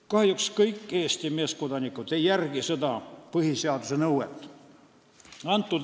Kahjuks ei järgi kõik Eesti meeskodanikud seda põhiseaduse nõuet.